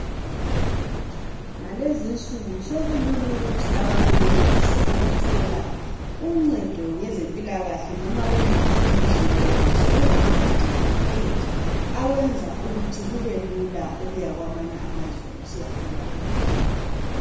Ngalezi nsuku sokulula ukuthi abantu benelise ukuthola uncedo ngezempilakahle noma kuliphi ilizwe ngoba sokulama medical aid ayenza ukuthi kubelula ukuya kwamanye amazwe usiyathola uncedo.